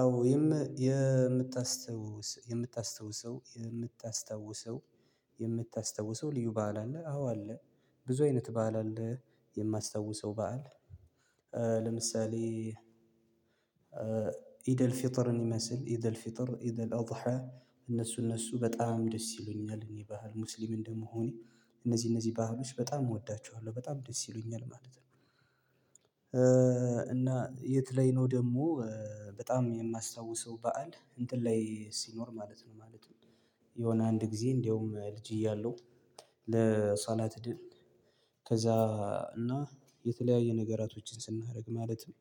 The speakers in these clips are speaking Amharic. አዎ የምታስታውሰው የምታስታውሰው የምታስታውሰው የምታስታዉሰው ልዩ በዓል አለ አዎ አለ። ብዙ አይነት በዓል አለ የማስታውሰው በዓል። ለምሳሌ ኢደልፌተርን ይመስል ኢደልፌተር ኢደልአደሃ እነሱ እነሱ በጣም ደስ ይሉኛል እኔ ባህል ሙስሊም እንደምሆኔ እነዚህ እነዚህ ባህሎች በጣም እወዳችኋለሁ በጣም ደስ ይሉኛል ማለት ነው። እና የት ላይ ነው ደግሞ? በጣም የማስታውሰው በዓል እንትን ላይ ሲኖር ማለት ነው ማለት ነው። የሆነ አንድ ጊዜ እንደውም ልጅ እያለሁ። ለሶላት ሄደን ከዛ እና የተለያየ ነገራቶችን ስናደርግ ማለትም።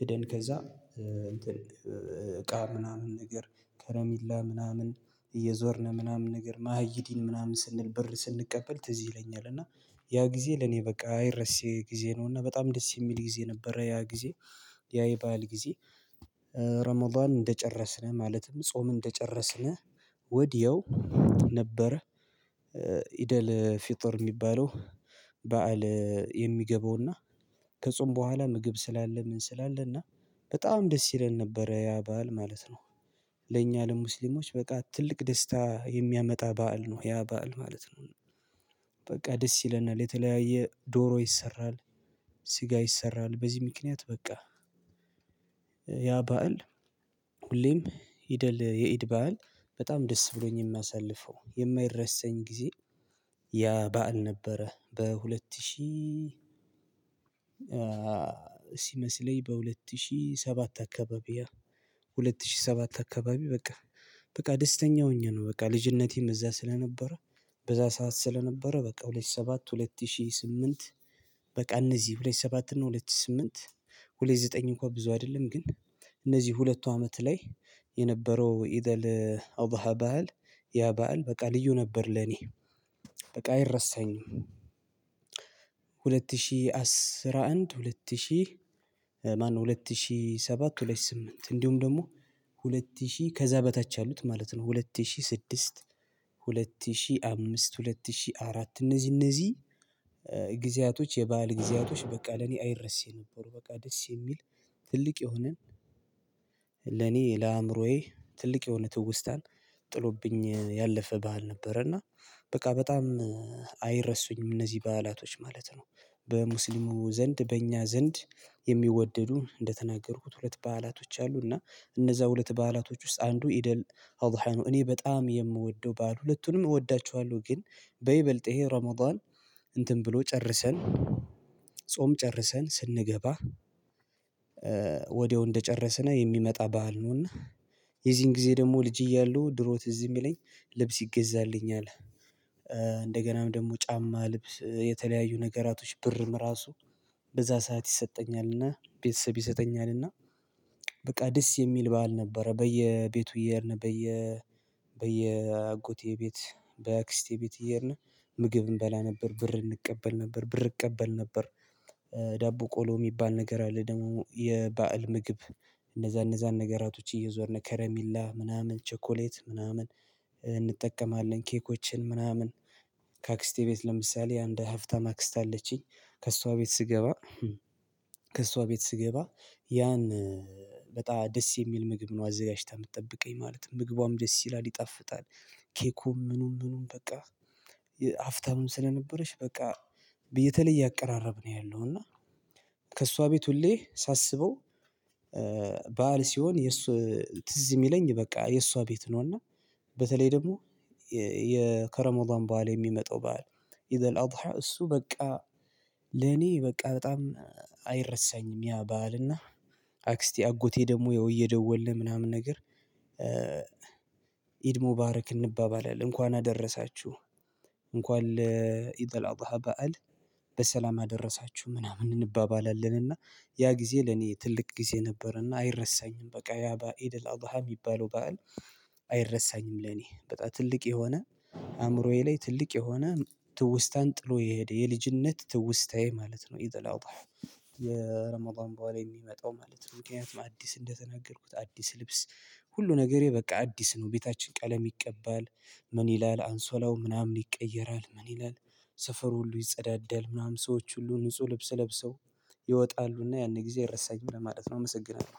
ሄደን ከዛ እንትን እቃ ምናምን ነገር ከረሜላ ምናምን እየዞርን ምናምን ነገር ማህይዲን ምናምን ስንል ብር ስንቀበል ትዝ ይለኛል። እና ያ ጊዜ ለኔ በቃ አይረሴ ጊዜ ነው እና በጣም ደስ የሚል ጊዜ ነበረ ያ ጊዜ። ያ ይባአል ጊዜ። ረመዳን እንደጨረስን ማለትም ጾም እንደጨረስን ወዲያው ነበረ። ፍጥር የሚባለው። በዓል የሚገባውና ከጾም በኋላ ምግብ ስላለ ምን ስላለ እና በጣም ደስ ይለን ነበር። ያ ባዓል ማለት ነው። ለእኛ ለሙስሊሞች በቃ ትልቅ ደስታ የሚያመጣ በዓል ነው ያ በዓል ማለት ነው። በቃ ደስ ይለናል የተለያየ ዶሮ ይሰራል። ስጋ ይሰራል በዚህ ምክንያት በቃ። ያ ባዓል ሁሌም ይደል የኢድ ባዓል በጣም ደስ ብሎኝ የማሳልፈው የማይረሰኝ ጊዜ። ያ በዓል ነበረ። በሁለት ሺህ ሲመስለኝ በሁለት ሺህ ሰባት አካባቢ። ሁለት ሺህ ሰባት አካባቢ በቃ በቃ ደስተኛ ሆኜ ነው በቃ ልጅነቴም እዛ ስለነበረ። በዛ ሰዓት ስለነበረ በቃ ሁለት ሺህ ሰባት ሁለት ሺህ ስምንት። በቃ እነዚህ ሁለት ሺህ ሰባት እና ሁለት ሺህ ስምንት። ሁለት ሺ ዘጠኝ እንኳን ብዙ አይደለም ግን። እነዚህ ሁለቱ አመት ላይ የነበረው ኢደል አደሃ ባህል። ያ ባህል በቃ ልዩ ነበር ለኔ። በቃ አይረሳኝም። ሁለት ሺህ አስራ አንድ ሁለት ሺህ ማነው ሁለት ሺህ ሰባት ሁለት ሺ ስምንት እንዲሁም ደግሞ። ሁለት ሺህ ከዛ በታች ያሉት ማለት ነው ሁለት ሺህ ስድስት። ሁለት ሺህ አምስት ሁለት ሺህ አራት እነዚህ እነዚህ። የባዓል ጊዜያቶች በቃ ለኔ አይረሴ ነበሩ። በቃ ደስ የሚል ትልቅ የሆነን ለአእምሮዬ ትልቅ የሆነ ትውስታን። ጥሎብኝ ያለፈ ባዓል ነበር። እና በቃ በጣም አይረሱኝም እነዚህ በዓላቶች ማለት ነው። በሙስሊሙ ዘንድ በእኛ ዘንድ የሚወደዱ እንደተናገርኩት ሁለት በዓላቶች አሉ። እና እነዛ ሁለት በዓላቶች ውስጥ አንዱ ኢደል አደሃ እኔ በጣም የምወደው ባዓል ሁለቱንም እወዳቸዋለሁ። ግን በይበልጥ ይሄ ረመዳን እንትን ብሎ ጨርሰን። ጾም ጨርሰን ስንገባ። ወዲያው እንደጨረስን የሚመጣ ባዓል ነው። እና የዚህን ጊዜ ደግሞ ልጅ እያሉ ድሮ ትዝ የሚለኝ ልብስ ይገዛልኛል። ደግሞ ጫማ ልብስ የተለያዩ ነገራቶች ብርም ራሱ በዛ ሰዓት ይሰጠኛልና ቤተሰብ ይሰጠኛልና። በቃ ደስ የሚል በዓል ነበረ። በየቤቱ የሄድነት በየ በየ አጎቴ ቤት በአክስቴ ቤት እየሄድን ምግብ እንበላ ነበር ብር እንቀበል ነበር ብር እቀበል ነበር። ዳቦ ቆሎ የሚባል ነገር አለ ደግሞ የባዓል ምግብ። እነዛ እነዛን ነገራቶች እየዞርን ከረሚላ ምናምን ቸኮሌት ምናምን። እንጠቀማለን ኬኮችን ምናምን። ከአክስቴ ቤት ለምሳሌ አንድ ሀፍታም አክስት አለችኝ ከእሷ ቤት ስገባ። ከእሷ ቤት ስገባ ያን በጣም ደስ የሚል ምግብ ነው አዘጋጅታ የምትጠብቀኝ ማለት ነው ምግቧም ደስ ይላል ይጣፍጣል። ኬኩም ምኑም ምኑም በቃ። ሐብታምም ስለነበረች በቃ። በየተለየ አቀራረብ ነው ያለው እና። ከእሷ ቤት ሁሌ ሳስበው። በዓል ሲሆን የእሱ ትዝ የሚለኝ በቃ የእሷ ቤት ነው እና። በተለይ ደግሞ የከረሞዳን በዓል የሚመጣው በዓል። ኢድአልአደሀ እሱ በቃ። ለኔ በቃ በጣም አይረሳኝም። ያ በዓል እና አክስቴ አጎቴ ደግሞ ያው እየደወልን ምናምን ነገር። ኢድሞ ሙባረክ እንባባላለን እንኳን አደረሳችሁ። እንኳን ለኢድ አልአደሀ በዓል። በሰላም አደረሳችሁ ምናምን እንባባላለን። እና ያ ጊዜ ለኔ ትልቅ ጊዜ ነበረና አይረሳኝም በቃ ያ በአ ኢድአልአዳሀ የሚባለው በዓል። አይረሳኝም ለኔ በጣም ትልቅ የሆነ አእምሮዬ ላይ ትልቅ የሆነ ትውስታን ጥሎ የሄደ የልጅነት ትውስታዬ ማለት ነው ኢድአላዳሀ። የረሞዳን በዓል የሚመጣው ማለት ነው ምክንያቱም አዲስ እንደተናገርኩት አዲስ ልብስ። ሁሉ ነገሬ በቃ አዲስ ነው ቤታችን ቀለም ይቀባል። ምን ይላል አንሶላው ምናምን ይቀየራል ምን ይላል። ሰፈር ሁሉ ይጸዳዳል ምናምን ሰዎች ሁሉ ንጹህ ልብስ ለብሰው። ይወጣሉና ያን ጊዜ አይረሳኝም ለማለት ነው። አመሰግናለሁ